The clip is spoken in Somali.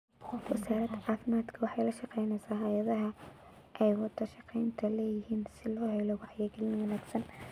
Wasaaradda caafimaadku waxay lashaqaynaysaa hayadaha aywada shaqaynta leeyihiin siloo helo wacyigelin wanaagsan.